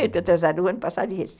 Estou atrasada o ano passado e esse.